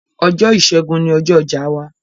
Ọjọ̀ ìṣẹ̀gùn ní ọjọ̀ ọjà wà